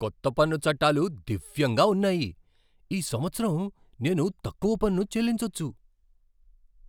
కొత్త పన్ను చట్టాలు దివ్యంగా ఉన్నాయి! ఈ సంవత్సరం నేను తక్కువ పన్ను చెల్లించొచ్చు!